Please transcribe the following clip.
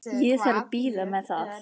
Ég þarf að bíða með það.